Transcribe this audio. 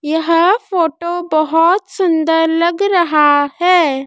यह फोटो बहोत सुंदर लग रहा है।